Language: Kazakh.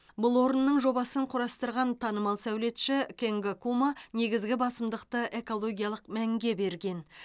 бұл орынның жобасын құрастырған танымал сәулетші кенго кума негізгі басымдықты экологиялық мәнге берген